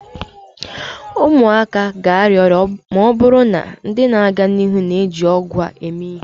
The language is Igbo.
ụmụaka ga-arịa ọrịa ma ọ bụrụ na ndị na-aga n'ihu na-eji ọgwụ a eme ihe